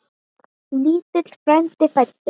Lítill frændi fæddur.